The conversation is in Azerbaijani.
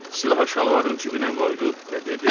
Silahı şalvarının cibinə qoydu və dedi: